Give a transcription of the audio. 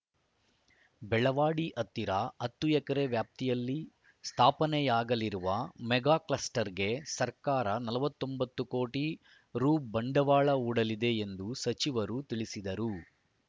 ಬೆಳವಾಡಿ ಹತ್ತಿರ ಹತ್ತು ಎಕರೆ ವ್ಯಾಪ್ತಿಯಲ್ಲಿ ಸ್ಥಾಪನೆಯಾಗಲಿರುವ ಮೆಗಾ ಕ್ಲಸ್ಟರ್‌ಗೆ ಸರ್ಕಾರ ನಲವತ್ತೊಂಬತ್ತು ಕೋಟಿ ರು ಬಂಡವಾಳ ಹೂಡಲಿದೆ ಎಂದು ಸಚಿವರು ತಿಳಿಸಿದರು